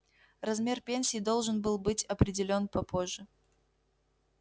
размер пенсии должен был быть определён попозже